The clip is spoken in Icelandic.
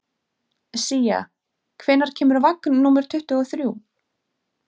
Sía, hvenær kemur vagn númer tuttugu og þrjú?